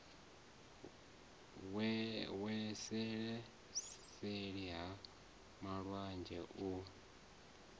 wele seli ha malwanzhe u